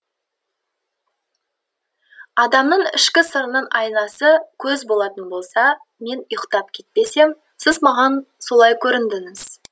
адамның ішкі сырының айнасы көз болатын болса мен ұйықтап кетпесем сіз маған солай көріндіңіз